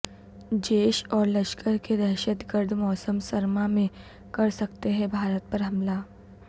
جیش اور لشکر کے دہشت گرد موسم سرما میں کرسکتے ہیں بھارت پر حملہ